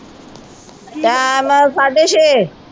time ਸਾਡੇ ਛੇ